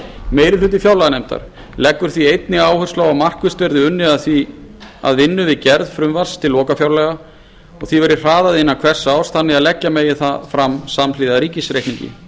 meiri hluti fjárlaganefndar leggur því einnig áherslu á að markvisst verði unnið að vinnu við gerð frumvarps til lokafjárlaga og því verði hraðað innan hvers árs þannig að leggja megi það fram samhliða ríkisreikningi